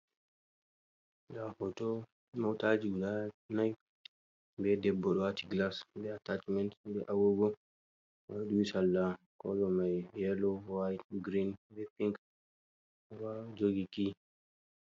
Nda hooto motaji guda nai, be debbo ɗo waati gilas be atachimen be agogo, oɗo duhi salla kolo mai yelo, wait, girin, be pink, oɗo jogi ki.